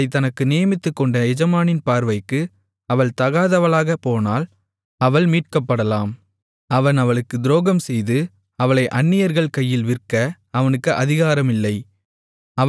அவளைத் தனக்கு நியமித்துக்கொண்ட எஜமானின் பார்வைக்கு அவள் தகாதவளாகப் போனால் அவள் மீட்கப்படலாம் அவன் அவளுக்குத் துரோகம்செய்து அவளை அந்நியர்கள் கையில் விற்க அவனுக்கு அதிகாரம் இல்லை